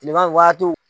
Kilema waatiw